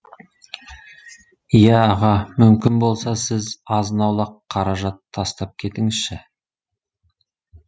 иә аға мүмкін болса сіз азын аулақ қаражат тастап кетіңізші